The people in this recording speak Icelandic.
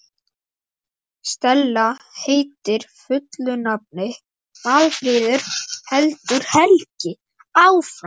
Stella heitir fullu nafni Málfríður, heldur Helgi áfram.